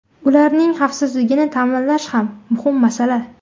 Ularning xavfsizligini ta’minlash xam muhim masala.